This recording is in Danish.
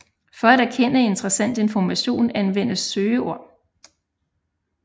For at erkende interessant information anvendes søgeord